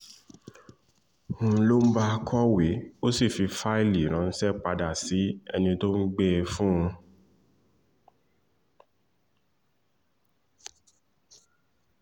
n lóun bá kọ̀wé ó sì fi fáìlì ránṣẹ́ padà sí ẹni tó gbé e fún un